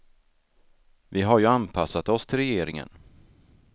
Vi har ju anpassat oss till regeringen.